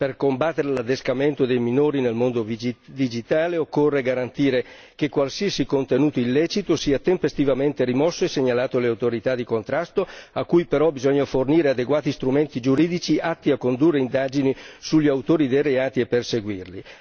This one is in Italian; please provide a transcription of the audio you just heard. Per combattere l'adescamento dei minori nel mondo digitale, occorre garantire che qualsiasi contenuto illecito sia tempestivamente rimosso e segnalato alle autorità di contrasto, a cui però bisogna fornire adeguati strumenti giuridici atti a condurre indagini sugli autori dei reati e perseguirli.